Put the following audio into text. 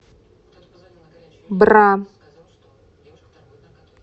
бра